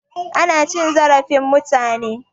Ana cin zarafin mutane.